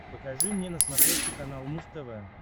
покажи мне на смотрешке канал муз тв